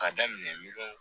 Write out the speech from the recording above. K'a daminɛ miliyɔn